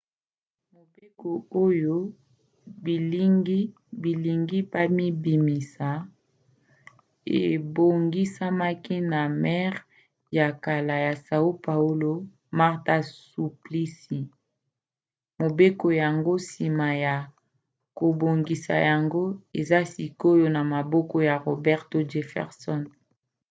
mobeko oyo bilingi babimisa ebongisamaki na maire ya kala ya são paulo marta suplicy. mobeko yango nsima ya kobongisa yango eza sikoyo na maboko ya roberto jefferson